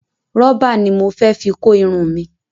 Rubber ni mo fẹ fi kó Irun mi